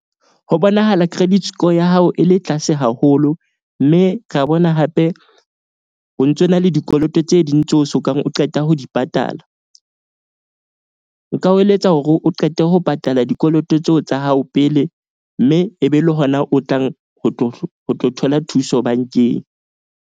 Ho bonahala credit score ya hao e le tlase haholo. Mme ra bona hape o ntso na le dikoloto tse ding tseo sokang o qeta ho di patala. Nka o eletsa hore o qete ho patala dikoloto tseo tsa hao pele. Mme e be le hona o tlang ho tlo thola thuso bank-eng.